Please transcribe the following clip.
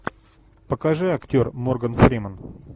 покажи актер морган фриман